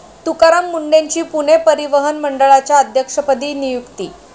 तुकाराम मुंढेंची पुणे परिवहन मंडळाच्या अध्यक्षपदी नियुक्ती